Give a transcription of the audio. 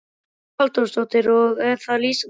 Hugrún Halldórsdóttir: Og er það lýsandi fyrir hana?